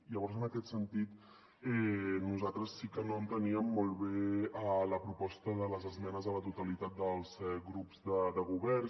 llavors en aquest sentit nosaltres sí que no enteníem molt bé la proposta de les esmenes a la totalitat dels grups de govern